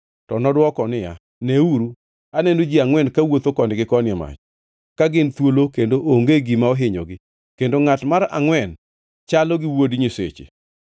To nodwoko niya, “Neuru! Aneno ji angʼwen kawuotho koni gi koni e mach, ka gin thuolo kendo onge gima ohinyogi, kendo ngʼat mar angʼwen chalo gi wuod nyiseche.”